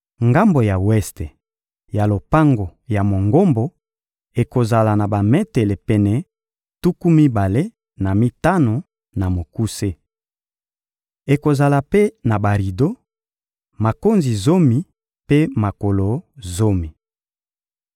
Ngambo ya weste ya lopango ya Mongombo ekozala na bametele pene tuku mibale na mitano na mokuse. Ekozala mpe na barido, makonzi zomi mpe makolo zomi.